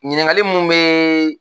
Ɲiningali munni bɛ